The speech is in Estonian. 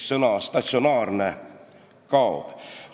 Sõna "statsionaarne" kaob.